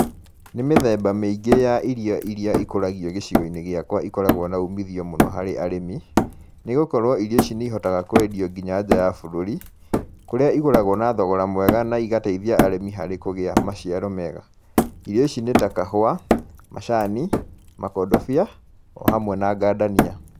Nĩ mĩthemba mĩĩngĩ ya irio iria ikũragio gĩcigo-inĩ gĩakwa ikoragwo na umithio mũno harĩ arĩmi, nĩ gũkorwo irio ici nĩ ihotaga kwendio nginya nja ya bũrũri, kũrĩa igũragwo na thogora mwega na igateithia arimi harĩ kũgĩa maciaro mega. Irio ici nĩ ta kahua, macani, makondobia, o hamwe na ngandania.